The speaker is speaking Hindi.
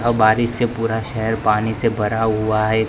बारिश से पूरा शहर पानी से भरा हुआ है।